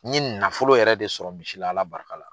N ɲe nafolo yɛrɛ de sɔrɔ misila Ala barika la.